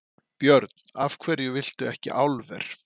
Björn: Af hverju viltu ekki álver?